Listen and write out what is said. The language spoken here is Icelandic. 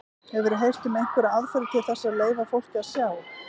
Hefurðu heyrt um einhverjar aðferðir til þess að leyfa fólki að sjá?